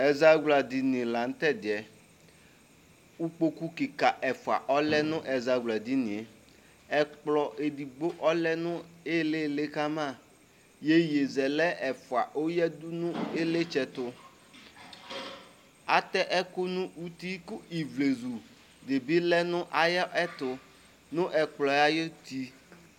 Ɛzawladini la nʋ tɛ di yɛ kʋ ikpoku kika ɛfua ɔlɛ nʋ ɛzawladini e Ɛkplɔ edigbo ɔlɛ nʋ ilili kama Iyeyezɛlɛ ɛfua oyadʋ nʋ ilitsɛ tʋ Atɛ ɛkʋ nʋ uti kʋ ivlezu di bi lɛ nʋ ayɛtʋ nʋ ɛkplɔ yɛ ayuti